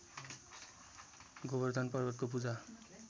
गोबर्धन पर्वतको पूजा